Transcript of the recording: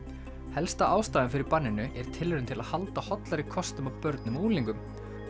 helsta ástæðan fyrir banninu er tilraun til að halda hollari kostum að börnum og unglingum